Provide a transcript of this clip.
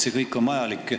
See kõik on vajalik.